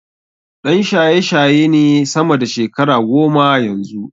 Ɗan shayeshaye ne sama da shekara goma yanzu.